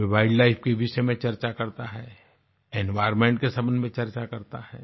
वे wildlife के विषय में चर्चा करता है एनवायर्नमेंट के सम्बन्ध में चर्चा करता है